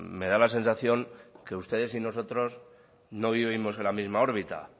me da la sensación que ustedes y nosotros no vivimos en la misma órbita